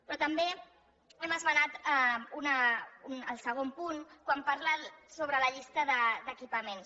però també hem esmenat el segon punt quan parla sobre la llista d’equipaments